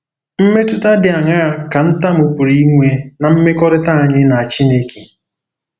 Mmetụta dị aṅaa ka ntamu pụrụ inwe ná mmekọrịta anyị na Chineke?